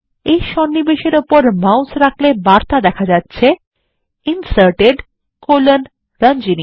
এই সন্নিবেশ উপরে মাউস রাখলে বার্তা দেয় Inserted রঞ্জনী